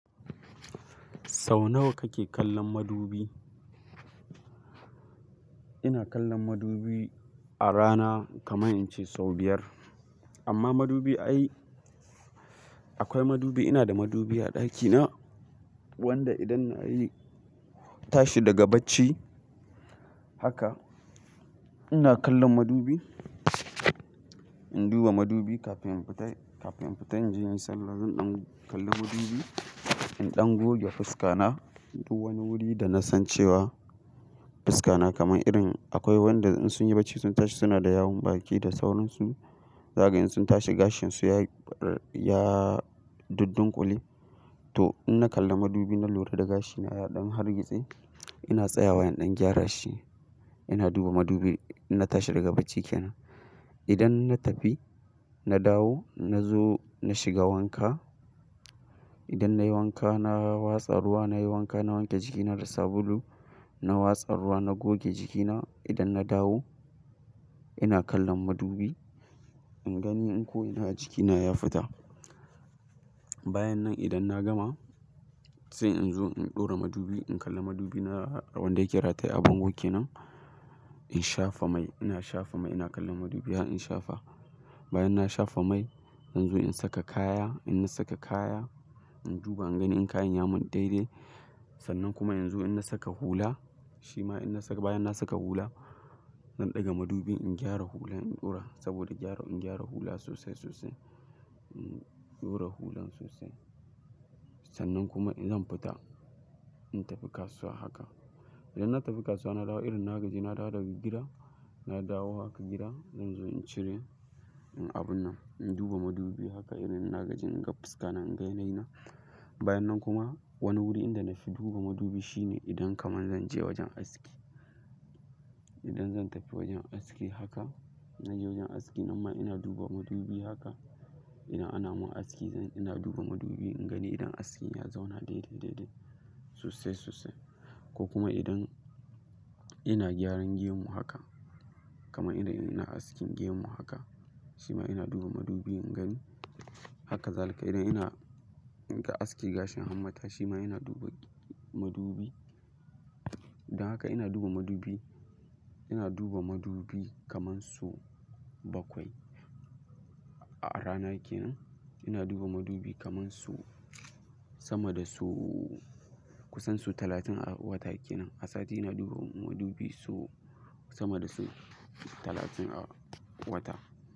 Sau nawa kake kallon madubi? Ina kallon madubi a rana kamar in ce sau biyar. Amma madubi ai, akwai madubi ina da madubi a ɗakina wanda idan nayi tashi daga bacci haka ina kallon madubi. In duba madubi kafin in fita, kafin in fita in je in yi sallah zan ɗan kalli madubi, in ɗan goge fuska na duk wani wuri da na san cewa fuska na kamar irin akwai wanda in sun yi bacci sun tashi suna da yawon baki da sauransu. Zaga in sun tashi gashin su ya, ya duddunƙule. To in na kalla madubi na lura da gashina ya ɗan hargitse ina tsayawa in ɗan gyara shi. Ina duba madubi na tashi daga baciki na. Idan na tafi, na dawo na zo na shiga wanka. Idan nayi wanka na watsa ruwa nayi wanka, na wanke jikina da sabulu, na watsa ruwa, na goge jikina idan na dawo ina kallon madubi ingani in ko ina a jikina ya fita. Bayan nan idan na gama sai in zo in ɗora madubi, in kalla madubi na wanda yake rataye a bangon ke nan. In shafa mai, ina shafa mai ina kallon madubi bayan in shafa. Bayan na shafa mai in zo in saka kaya, in na saka kaya in duba ingani in kayan ya mun daidai. Sannan kuma in zo in na saka hula, shima in na saka bayan na saka hula zan ɗaga madubi in gyara hulan in ɗora saboda gyara, in gyara hula sosai sosai. In ɗora hulan sosai. Sannan kuma in zan fita, in tafi kasuwa haka. Idan na tafi kasuwa na dawo irin na gaji na dawo daga gida, na dawo haka gida in zo in cire abun nan, in duba madubi haka irin na gaji in ga fuska na, in ga yanayi na. Bayan nan kuma wani wuri inda na fi duba madubi shine idan kamar zan je wajen aski. Idan zan tafi wajen aski haka, na je wajen aski nan ma ina duba madubi haka. Ina, ana mun aski zan, ina duba madubi ingani idan askin ya zauna daidai, daidai sosai, sosai. Ko kuma idan ina gyaran gemun haka kamar idan ina askin gemun haka, shima ina duba madubi ingani. Haka zalika idan ina askin gashin hammata shima ina duba madubi. Idan haka ina duba madubi, ina duba madubi kamar su bakwai a rana ke nan. Ina duba madubi kamar su sama da su kusan su talatin a wata ke nan. A sati ina duba madubi so sama da su talatin a wata.